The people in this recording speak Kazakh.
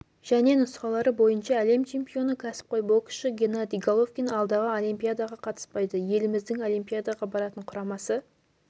және нұсқалары бойынша әлем чемпионы кәсіпқой боксшы геннадий головкин алдағы олимпиадаға қатыспайды еліміздің олимпиадаға баратын құрамасы